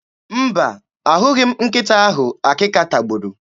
Mba, ahụghị m nkịta ahụ akịka tagburu.